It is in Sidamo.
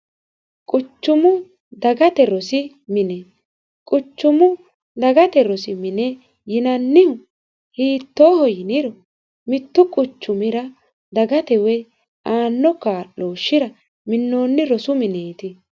Quchumu dagate rosi mine ,quchumu dagate rosi mini hiittoho yiniro mitu quchumira dagate aano kaa'loshira minoni mineti.